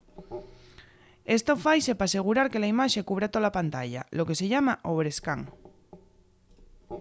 esto faise p'asegurar que la imaxe cubra tola pantalla lo que se llama overscan